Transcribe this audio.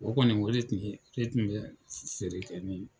O kɔni o de tun bɛ , o de tun bɛ feere kɛ